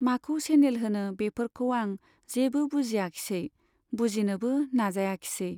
माखौ सेनेल होनो बेफोरखौ आं जेबो बुजियाखिसै , बुजिनोबो नाजायाखिसै।